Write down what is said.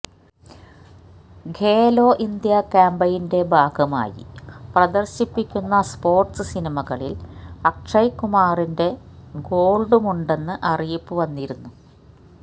Khelo India ക്യാമ്പയിന്റെ ഭാഗമായി പ്രദര്ശിപ്പിക്കുന്ന സ്പോര്ട്സ് സിനിമകളില് അക്ഷയ് കുമാറിന്റെ ഗോള്ഡുമുണ്ടെന്ന് അറിയിപ്പു വന്നിരുന്നു